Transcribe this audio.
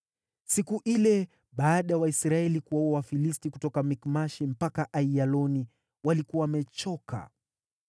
Siku ile baada ya Waisraeli kuwaua Wafilisti kutoka Mikmashi mpaka Aiyaloni, walikuwa wamechoka.